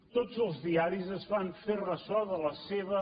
tots els diaris es van fer ressò de la seva